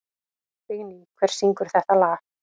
Vigný, hver syngur þetta lag?